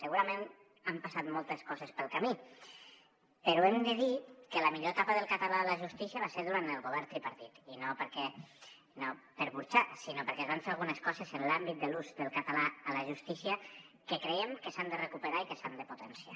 segurament han passat moltes coses pel camí però hem de dir que la millor etapa del català a la justícia va ser durant el govern tripartit i no per burxar sinó perquè es van fer algunes coses en l’àmbit de l’ús del català a la justícia que creiem que s’han de recuperar i que s’han de potenciar